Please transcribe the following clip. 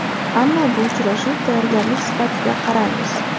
Ammo bu uchrashuv tayyorgarlik sifatida qaraymiz.